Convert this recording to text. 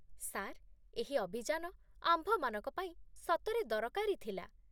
sir, ଏହି ଅଭିଯାନ ଆମ୍ଭମାନଙ୍କ ପାଇଁ ସତରେ ଦରକାରୀ ଥିଲା